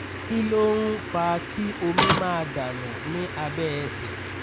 kí ló ń ń fa kí omi máa dà nù ní abẹ́ ẹsẹ̀?